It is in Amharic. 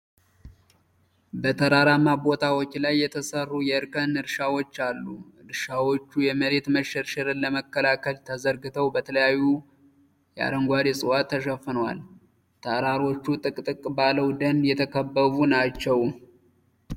በተራራማ ቦታዎች ላይ የተሠሩ የእርከን እርሻዎች አሉ። እርሻዎቹ የመሬት መሸርሸርን ለመከላከል ተዘርግተው፣ በተለያዩ አረንጓዴ ዕፅዋት ተሸፍነዋል። ተራሮቹ ጥቅጥቅ ባለው ደን የተከበቡ ናቸው።